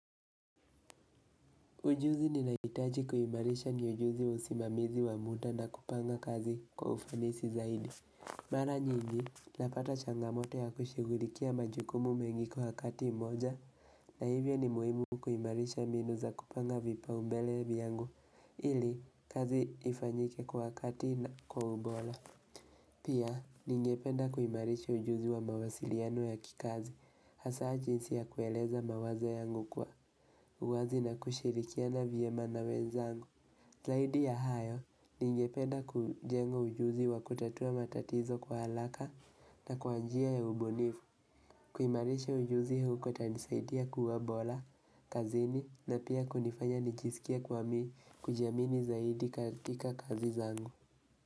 Ujuzi ninahitaji kuimarisha ni ujuzi wa usimamizi wa muda na kupanga kazi kwa ufanisi zaidi. Mara nyingi, napata changamoto ya kushughulikia majukumu mengi kwa wakati moja, na hivyo ni muhimu kuimarisha mbinu za kupanga vipaumbele vyangu ili kazi ifanyike kwa wakati na kwa ubora. Pia, ningependa kuimarisha ujuzi wa mawasiliano ya kikazi, hasa jinsi ya kueleza mawazo yangu kwa. Uwazi na kushirikiana vyema na wenzangu. Zaidi ya hayo ningependa kujenga ujuzi wa kutatua matatizo kwa haraka na kwa njia ya ubunifu. Kuimarisha ujuzi huu kutanisaidia kuwa bora, kazini na pia kunifanya nijisikie kuwa mi kujiamini zaidi katika kazi zangu.